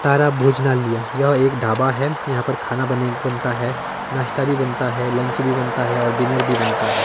तारा भोजनालय यह एक ढाबा है यहां पर खाना बने बनता है नाश्ता भी बनता है लंच भी बनता हैं और डिनर भी बनता हैं।